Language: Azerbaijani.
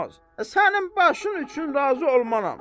Sənin başın üçün razı olmaram.